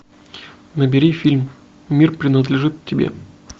набери фильм мир принадлежит тебе